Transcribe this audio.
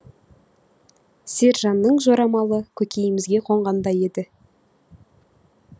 сержанның жорамалы көкейімізге қонғандай еді